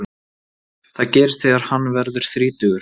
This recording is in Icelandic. Það gerist þegar hann verður þrítugur.